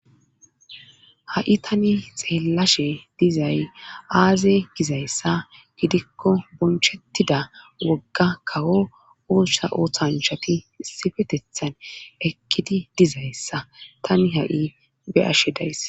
ha7i tani xeellashe dizay aaze gizayssa gidikko bonchettida wogga kawo oossa ooththanshati sifetethan eqqidi dizayssa tani ha7i beyashe days